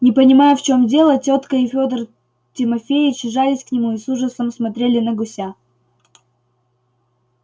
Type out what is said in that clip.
не понимая в чем дело тётка и федор тимофеич жались к нему и с ужасом смотрели на гуся